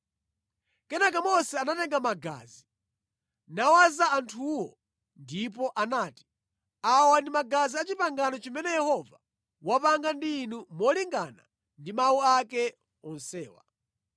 Kenaka Mose anatenga magazi, nawaza anthuwo ndipo anati, “Awa ndi magazi a pangano limene Yehova wapanga ndi inu molingana ndi mawu ake onsewa.”